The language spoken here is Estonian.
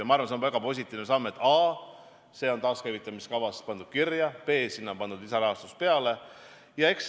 Minud arvates on see väga positiivne samm, et a) see on pandud taaskäivitamiskavasse kirja, b) sinna on pandud lisarahastus peale.